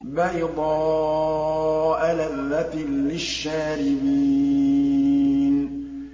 بَيْضَاءَ لَذَّةٍ لِّلشَّارِبِينَ